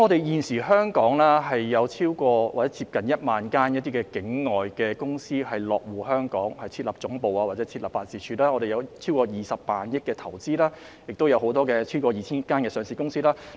現時有約1萬間境外公司落戶香港設立總部或辦事處，有超過20萬億元的投資，亦有超過 2,000 間上市公司。